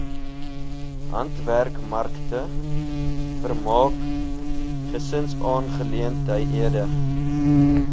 handwerkmarkte vermaak gesinsaangeleenthede